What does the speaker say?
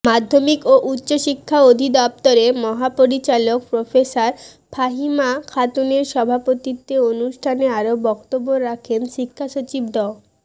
মাধ্যমিক ও উচ্চশিক্ষা অধিদপ্তরের মহাপরিচালক প্রফেসর ফাহিমা খাতুনের সভাপতিত্বে অনুষ্ঠানে আরো বক্তব্য রাখেন শিক্ষাসচিব ড